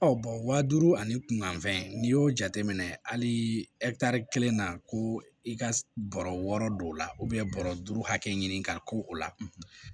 Ɔ bɔn waa duuru ani fɛn n'i y'o jateminɛ hali kelen na ko i ka bɔrɔ wɔɔrɔ don o la bɔrɔ duuru hakɛ ɲini ka k'o la